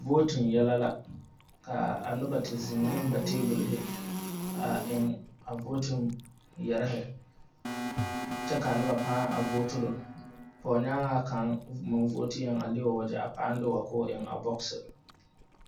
Vooti yɛlɛ la ka a noba te. zeŋ ne ba tɛbolhi a eŋ a voti yɛrehi kyɛ ka a noba pãã vooturo pɔgenyaaŋa kaŋa meŋ vooti yɛ a le o wagyɛ aŋ de wa k'o eŋ a bogisi.